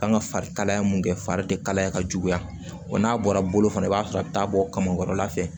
Kan ka fari kalaya mun kɛ fari te kalaya ka juguya wa n'a bɔra bolo fana i b'a sɔrɔ a bi taa bɔ kamakɔrɔla fɛ